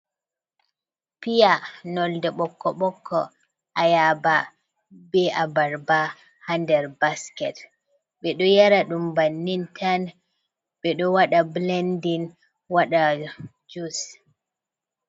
Piya nonde ɓokko ɓokko ayaaba be abarba ha nder basket, ɓe ɗo yara ɗum bannin tan, ɓe ɗo waɗa bilendin waɗa jus.